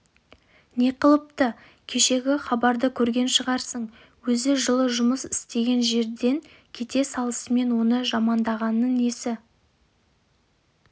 не қылыпты кешегі хабарды көрген шығарсың өзі жыл жұмыс істеген жерден кете салысымен оны жамандағаны несі